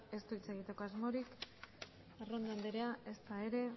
ez du hitz egiteko asmorik arrondo andrea ezta ere